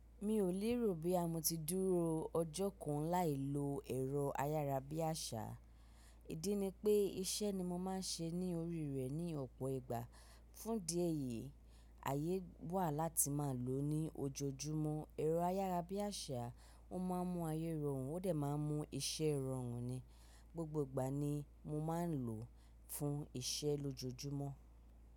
Mi ò lérò bí a mo ti dúró ọjọ́ kan láì lo ẹ̀rọ ayárabíàṣá. Ídí ni pé iṣẹ́ ni mo máa ń ṣe ní orí rẹ ní ọ̀pọ̀ ìgbà. Fún idi ẹ́yìí, àyè wà láti máa lò ó ní ojoojúmọ́. Ẹ̀rọ ayárabíàṣá, ó máa ń mú ayé rọrùn, ó dẹ̀ máa ń mú iṣẹ́ rọrùn ni. Gbogbo ìgbà ni mo máa ń lò ó fún iṣẹ́ lójoojúmọ́.